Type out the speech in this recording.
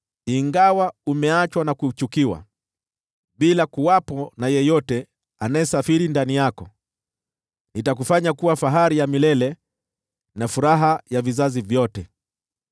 “Ingawa umeachwa na kuchukiwa, bila yeyote anayesafiri ndani yako, nitakufanya kuwa fahari ya milele, na furaha ya vizazi vyote.